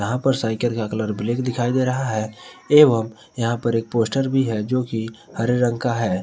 यहां पर साइकिल का कलर ब्लैक दिखाई दे रहा है एवं यहां पर एक पोस्टर भी है जोकि हरे रंग का है।